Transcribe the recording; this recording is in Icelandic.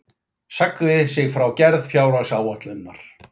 Sagði sig frá gerð fjárhagsáætlunar